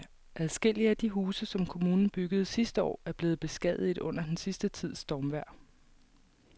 Adskillige af de huse, som kommunen byggede sidste år, er blevet beskadiget under den sidste tids stormvejr.